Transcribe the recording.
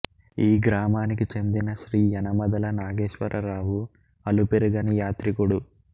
ఈ గ్రామానికి చెందిన శ్రీ యనమదల నాగేశ్వరరావు అలుపెరుగని యాత్రికుడు